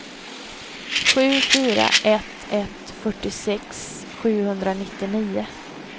sju fyra ett ett fyrtiosex sjuhundranittionio